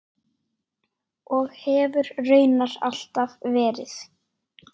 Og hefur raunar alltaf verið.